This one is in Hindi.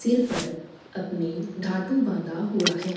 सिर पर अपने धातु बाँधा हुआ है।